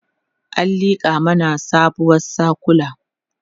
an liƙa mana sabuwar sakula